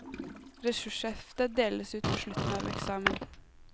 Ressurshefte deles ut på slutten av eksamen.